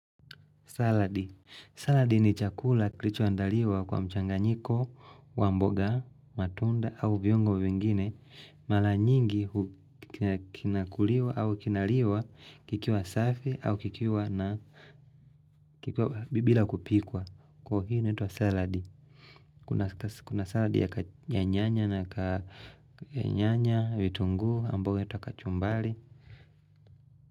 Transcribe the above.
Salad. Salad ni chakula kilicho andaliwa kwa mchanganyiko, wamboga, matunda, au viongo vingine. Mara nyingi kinakuliwa au kinaliwa kikiwa safi au kikiwa na kikiwa bila kupikwa. Kwa hii inaitwa salad. Kuna salad ya kanyanya na kanyanya, vitunggu, ambayo inaitwa kachumbari.